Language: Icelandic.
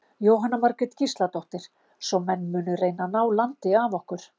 Jóhanna Margrét Gísladóttir: Svo menn munu reyna að ná landi af okkur?